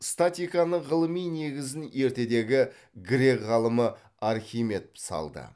статиканың ғылыми негізін ертедегі грек ғалымы архимед салды